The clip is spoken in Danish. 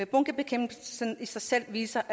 bunkebekæmpelsen i sig selv viser